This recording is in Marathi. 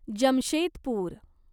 जमशेदपूर